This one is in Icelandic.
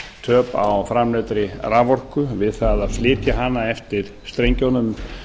um flutningstap á framleiddri raforku við það að flytja hana eftir strengjunum